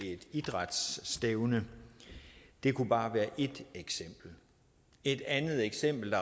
et idrætsstævne det kunne bare være et eksempel et andet eksempel